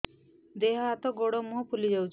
ଦେହ ହାତ ଗୋଡୋ ମୁହଁ ଫୁଲି ଯାଉଛି